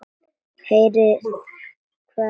Heyrið hvað hann segir.